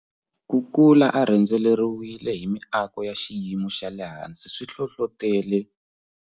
Ku kula a rhendzeriwile hi miako ya xiyimo xa le hansi swi hlohlotele.